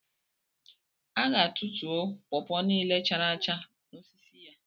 A ga tutuo pọpọ niile chara acha n'osisi ya